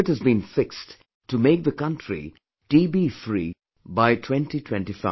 A target has been fixed to make the country TBfree by 2025